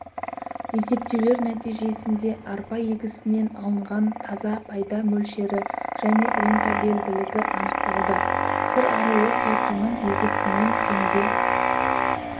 есептеулер нәтижесінде арпа егісінен алынған таза пайда мөлшері және рентабелділігі анықталды сыр аруы сортының егісінен теңге